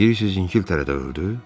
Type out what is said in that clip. Deyirsiniz İngiltərədə öldü?